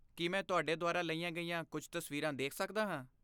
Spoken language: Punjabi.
ਕੀ ਮੈਂ ਤੁਹਾਡੇ ਦੁਆਰਾ ਲਈਆਂ ਗਈਆਂ ਕੁਝ ਤਸਵੀਰਾਂ ਦੇਖ ਸਕਦਾ ਹਾਂ?